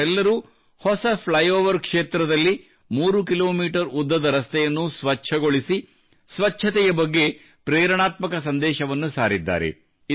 ಇವರೆಲ್ಲರೂ ಹೊಸ flyover ಕ್ಷೇತ್ರದಲ್ಲಿ 3 ಕಿ ಮೀ ಉದ್ದದ ರಸ್ತೆಯನ್ನು ಸ್ವಚ್ಛಗೊಳಿಸಿ ಸ್ವಚ್ಛತೆಯ ಬಗ್ಗೆ ಪ್ರೇರಣಾತ್ಮಕ ಸಂದೇಶವನ್ನು ಸಾರಿದ್ದಾರೆ